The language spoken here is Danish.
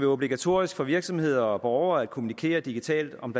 obligatorisk for virksomheder og borgere at kommunikere digitalt om